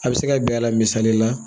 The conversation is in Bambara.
A bɛ se ka bɛn a la misali la